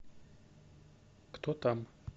кто там